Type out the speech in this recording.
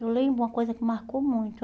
Eu lembro uma coisa que marcou muito.